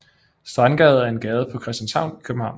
Strandgade er en gade på Christianshavn i København